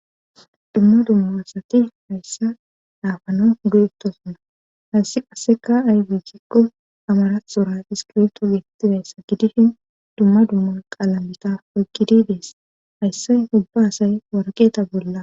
Dumma dummabasati hayssa dhaafano duyittosuna hayssi qasseka aybichikko amarathtxoratis kirto geetettidayssa gidishin dumma dumma qaalamitaf oykgidi dees hayssay hubba asay warqeeta bolla.